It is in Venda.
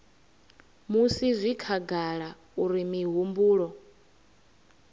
musi zwi khagala uri mihumbulo